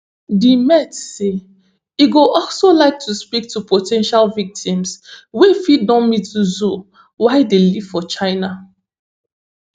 di met say e go also like to speak to po ten tial victims wey fit don meet zou while dey live for china